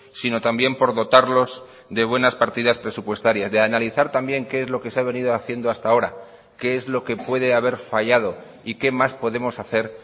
sino también por dotarlos de buenas partidas presupuestarias de analizar también qué es lo que se ha venido haciendo hasta ahora qué es lo que puede haber fallado y qué más podemos hacer